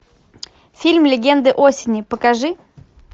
фильм легенды осени покажи